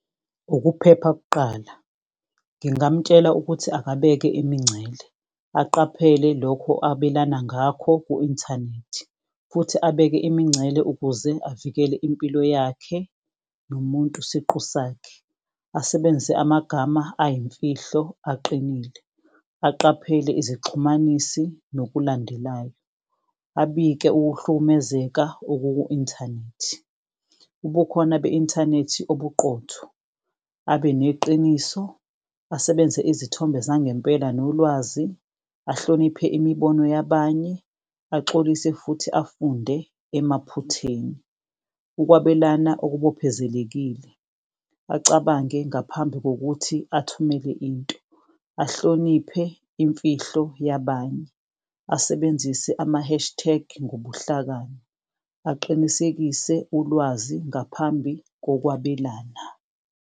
Ukuphepha kuqala, ngingamtshela ukuthi akabeke imincele aqaphele lokho abelana ngakho ku-inthanethi. Futhi abeke imincele ukuze avikele impilo yakhe nomuntu siqu sakhe, asebenzise amagama ayimfihlo aqinile. Aqaphele izixhumanisi nokulandelayo, abike ukuhlukumezeka okuku-inthanethi. Ubukhona be-inthanethi obuqotho, abeneqiniso, asebenzise izithombe zangempela nolwazi. Ahloniphe imibono yabanye, axolise futhi afunde emaphutheni. Ukwabelana okubophezelekile, acabange ngaphambi kokuthi athumele into, ahloniphe imfihlo yabanye. Asebenzise ama-hashtag ngobuhlakani, aqinisekise ulwazi ngaphambi kokwabelana.